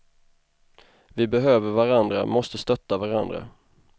Vi behöver varandra, måste stötta varandra.